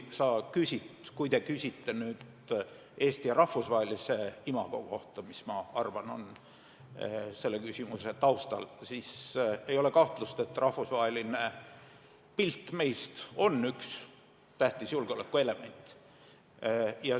Kui te küsite Eesti rahvusvahelise imago kohta, mis, ma arvan, on selle küsimuse taustal, siis ei ole kahtlust, et rahvusvaheline pilt meist on üks tähtsaid julgeolekuelemente.